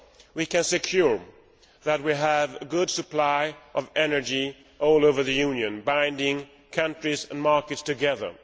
We can also ensure that we have a good supply of energy all over the Union, binding countries and markets together.